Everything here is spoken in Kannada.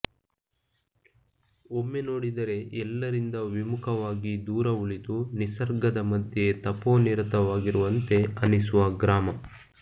ಒಮ್ಮೆ ನೋಡಿದರೆ ಎಲ್ಲರಿಂದ ವಿಮುಖವಾಗಿ ದೂರ ಉಳಿದು ನಿಸರ್ಗದ ಮಧ್ಯೆ ತಪೋನಿರತವಾಗಿರುವಂತೆ ಅನಿಸುವ ಗ್ರಾಮ